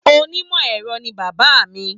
Onímọ̀ ẹ̀rọ ni bàbá mi.